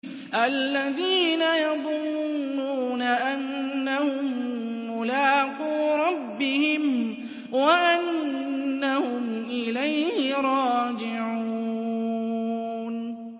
الَّذِينَ يَظُنُّونَ أَنَّهُم مُّلَاقُو رَبِّهِمْ وَأَنَّهُمْ إِلَيْهِ رَاجِعُونَ